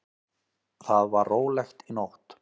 Þar var rólegt í nótt.